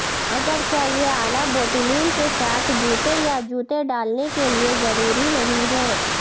اگرچہ یہ اعلی بوٹیلیل کے ساتھ جوتے یا جوتے ڈالنے کے لئے ضروری نہیں ہے